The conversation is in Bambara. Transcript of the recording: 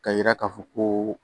K'a yira k'a fɔ koo